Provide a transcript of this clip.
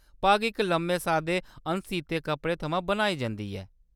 पग्ग इक लम्मे सादे अनसीते कपड़े थमां बनाई जंदी ऐ।